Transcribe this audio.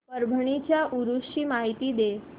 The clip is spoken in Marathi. परभणी च्या उरूस ची माहिती दे